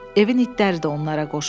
Evin itləri də onlara qoşuldu.